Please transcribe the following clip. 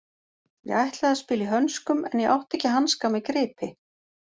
Ég ætlaði að spila í hönskum en ég átti ekki hanska með gripi.